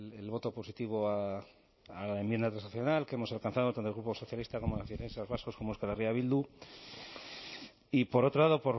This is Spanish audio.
el voto positivo a la enmienda transaccional que hemos alcanzado tanto el grupo socialista como nacionalistas vascos como euskal herria bildu y por otro lado